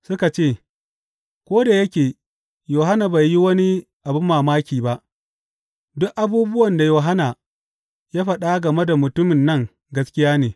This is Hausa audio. Suka ce, Ko da yake Yohanna bai yi wani abin banmamaki ba, duk abubuwan da Yohanna ya faɗa game da mutumin nan gaskiya ne.